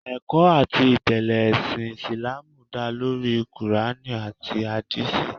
Ẹ̀kọ́ àti ìtẹ́lẹ̀ ẹṣin Ìsìláàmù dá lórí kùránì àti Àdíìsì